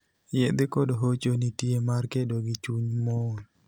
Yedhe kod hocho nitie mar kedo gi chuny mool.